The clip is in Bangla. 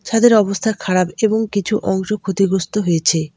ছাদের অবস্থা খারাপ এবং কিছু অংশ ক্ষতিগ্রস্ত হয়েছে।